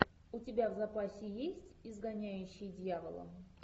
у тебя в запасе есть изгоняющий дьявола